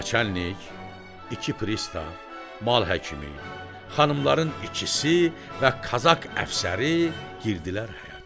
Naçallnik, iki pristav, mal həkimi, xanımların ikisi və kazak əfsəri girdilər həyətə.